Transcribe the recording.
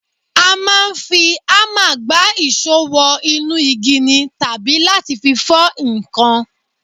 A máa ń fi hámà gbá ìṣó wọ inú igi ni tàbí láti fi fọ́ nǹkan